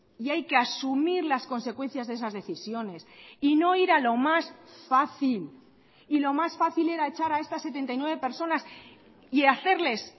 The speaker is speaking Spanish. y hay que asumir las consecuencias de esas decisiones y no ir a lo más fácil y lo más fácil era echar a estas setenta y nueve personas y hacerles